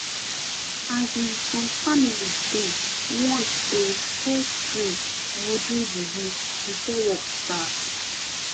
asin some families dey want um fess pray or do juju before work start